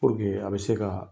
Puruke a bɛ se ka